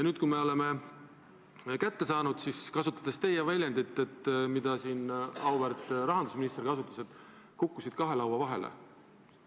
Nüüd, kui oleme eelarve kätte saanud, siis, kasutades väljendit, mida siin auväärt rahandusminister kasutas, kukkusid toetused kahe laua vahele.